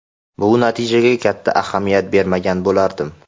Bu natijaga katta ahamiyat bermagan bo‘lardim.